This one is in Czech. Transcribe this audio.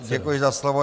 Děkuji za slovo.